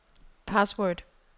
password